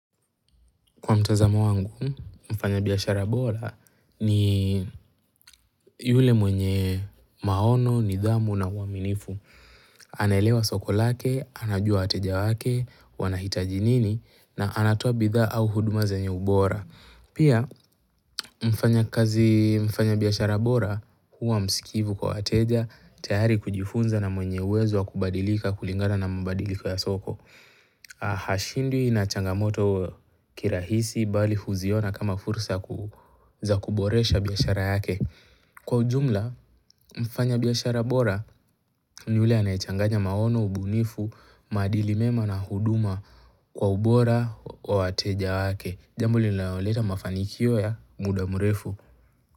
Kwa mtazamo wangu, mfanyabiashara bora ni yule mwenye maono, nidhamu na mwaminifu. Anaelewa soko lake, anajua wateja wake, wanahitaji nini na anatoa bidhaa au huduma zenye ubora. Pia, mfanyabiashara bora huwa msikivu kwa wateja, tayari kujifunza na mwenye uwezo wa kubadilika kulingana na mabadiliko ya soko. Hashindwi na changamoto kirahisi bali huziona kama fursa za kuboresha biashara yake Kwa ujumla mfanyabiashara bora ni yule anayechanganya maono, ubunifu, maadilimema na huduma kwa ubora wa wateja wake Jambo linaloleta mafanikio ya mudamrefu.